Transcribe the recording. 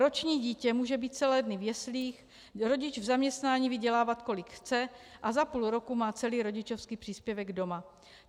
Roční dítě může být celé dny v jeslích, rodič v zaměstnání vydělávat, kolik chce, a za půl roku má celý rodičovský příspěvek doma.